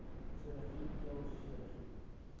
chirurgie keel chirurgie